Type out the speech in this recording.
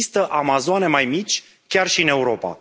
Există Amazoane mai mici chiar și în Europa.